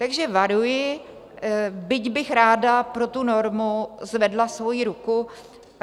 Takže varuji, byť bych ráda pro tu normu zvedla svoji ruku.